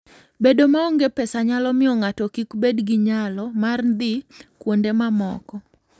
Bedo maonge pesa nyalo miyo ng'ato kik bed gi nyalo mar dhi kuonde mamoko.